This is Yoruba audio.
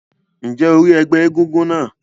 Ǹjẹ́ o rí ẹgbẹ́ egúngún náà?